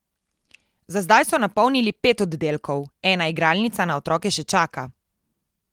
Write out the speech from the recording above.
Za zdaj so napolnili pet oddelkov, ena igralnica na otroke še čaka.